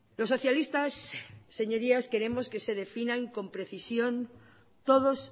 los socialistas señorías queremos que se definan con precisión todos